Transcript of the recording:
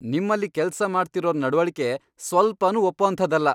ನಿಮ್ಮಲ್ಲಿ ಕೆಲ್ಸ ಮಾಡ್ತಿರೋರ್ ನಡ್ವಳಿಕೆ ಸ್ವಲ್ಪನೂ ಒಪ್ಪೋಂಥದ್ದಲ್ಲ.